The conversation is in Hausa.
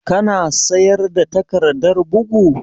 Ka na sayar da takardar bugu?